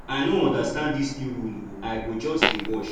i no understand dis new rule ooo i go just dey watch